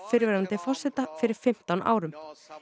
fyrrverandi forseta fyrir fimmtán árum